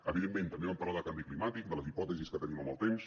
evidentment també vam parlar de canvi climàtic de les hipòtesis que tenim amb el temps